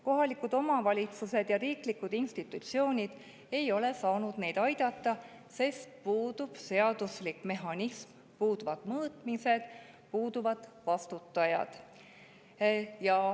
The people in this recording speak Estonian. Kohalikud omavalitsused ja riiklikud institutsioonid ei ole saanud neid aidata, sest puudub seaduslik mehhanism, puuduvad mõõtmised, puuduvad vastutajad.